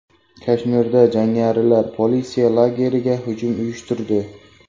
Kashmirda jangarilar politsiya lageriga hujum uyushtirdi.